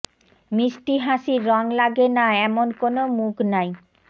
মিস্টি হাসির রং লাগে না এমন কোনো মুখ নাই